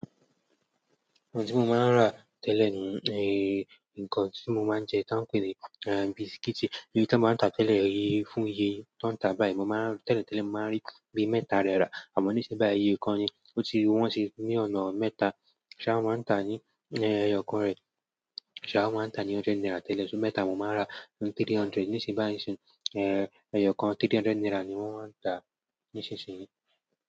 Nǹkan tí mo máa ń rà tẹ́lẹ̀ ni nǹkan tí mo máa ń jẹ tán pe ni bisikíìtì, iye tí wọ́n máa ń tà tẹ́lẹ̀ fún iye tó ń tà báyìí mo maa n, tẹ́lẹ̀ tẹ́lẹ̀, mo máa ń rí bí mẹ́ta rẹ rà àmọ́ níṣín báyìí, iye kan ni, o ti wọ́n sì ní ọ̀nà mẹ́ta, ṣá wọ́n máa ń tà ní ẹyọ kan rẹ̀, ṣá wọ́n máa ń tà ní hundred naira tẹ́lẹ̀, ṣó mẹ́ta mo máa rà ńi three hundred, níṣín báyìí nsin, ẹyọ kan three hundred naira ni wọ́n ń tà nísinsìnyí.